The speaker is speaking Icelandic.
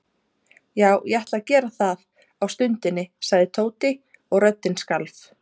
Já, ég ætla að gera það á stundinni sagði Tóti og röddin skalf.